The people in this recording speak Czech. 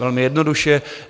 Velmi jednoduše.